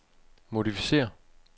modificér